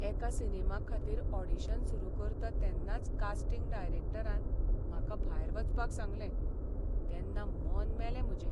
एका सिनेमा खातीर ऑडिशन सुरू करता तेन्नाच कास्टिंग डायरॅक्टरान म्हाका भायर वचपाक सांगलें, तेन्ना मन मेलें म्हजें.